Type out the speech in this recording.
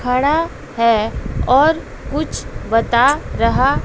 खड़ा है और कुछ बता रहा--